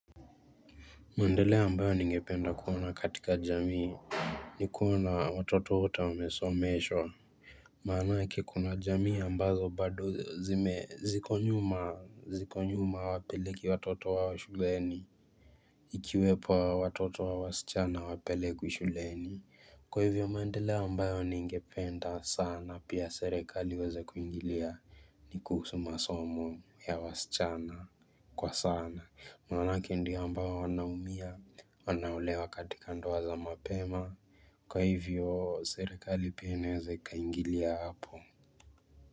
Maendeleo ambayo ningependa kuona katika jamii Nikuona watoto wote wamesomeshwa Manaake kuna jamii ambazo bado zikonyuma wapeleki watoto wa shuleni Ikiwepo watoto wa wasichana hawapelekwi shuleni Kwa hivyo maendeleo ambayo ningependa sana pia serikali waweze kuingilia ni kuhusu masomo ya wasichana kwa sana maanake ndi ambayo wanaumia wanaolewaa katika ndo waza mapema Kwa hivyo serikali pia inaweza ika ingilia hapo.